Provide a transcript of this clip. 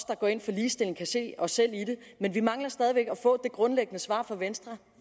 der går ind for ligestilling kan se os selv i men vi mangler stadig væk at få det grundlæggende svar fra venstre